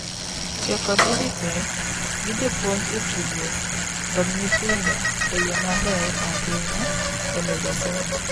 tiyo kod EdTech gi jopuonj e tudruok kod nyithindo e yo maber ahinya e medo somo